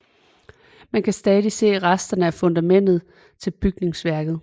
Man kan stadig se resterne af fundamentet til bygningsværket